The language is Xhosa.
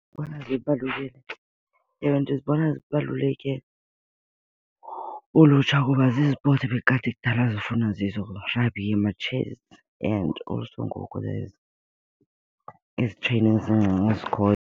Ndibona zibaluleke, ewe ndizibona zibaluleke kulutsha kuba zizipotsi ebekade kudala zifuna zizo, rugby oma-chess and also ngoku there's ezi zincinci zikhoyo.